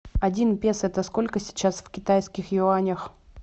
один песо это сколько сейчас в китайских юанях